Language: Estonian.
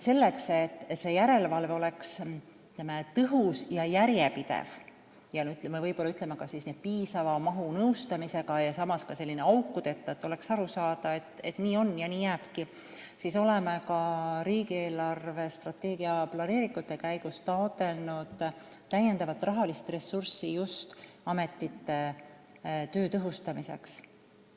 Selleks, et järelevalve oleks tõhus ja järjepidev, samas piisava nõustamisega ja n-ö aukudeta – et oleks aru saada, et nii on ja nii jääbki –, oleme ka riigi eelarvestrateegia planeeringute käigus taotlenud täiendavat rahalist ressurssi ametite töö tõhustamiseks.